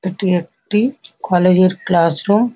এটি একটি কলেজ এর ক্লাস রুম ।